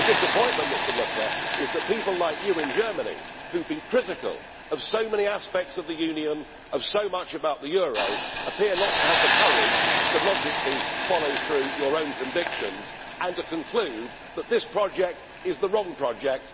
The disappointment, Mr Lucke, is that people like you in Germany, who have been critical of so many aspects of the Union, of so much about the euro, appear not to have the courage to logically follow through your own convictions and to conclude that this project is the wrong project.